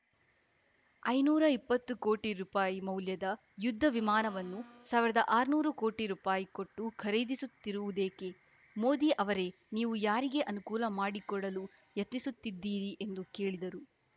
ಐನೂರ ಎಪ್ಪತ್ತು ಕೋಟಿ ರುಪಾಯಿ ಮೌಲ್ಯದ ಯುದ್ಧ ವಿಮಾನವನ್ನು ಸಾವಿರದ ಆರ್ನೂರು ಕೋಟಿ ರುಪಾಯಿ ಕೊಟ್ಟು ಖರೀದಿಸುತ್ತಿರುವುದೇಕೆ ಮೋದಿ ಅವರೇ ನೀವು ಯಾರಿಗೆ ಅನುಕೂಲ ಮಾಡಿಕೊಡಲು ಯತ್ನಿಸುತ್ತಿದ್ದೀರಿ ಎಂದು ಕೇಳಿದರು